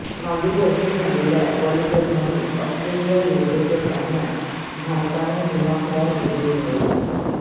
मागील वर्षी झालेल्या वर्ल्डकपमध्ये ऑस्ट्रेलियाविरुद्धच्या सामन्यात भारतानं दिमाखदार विजय मिळवला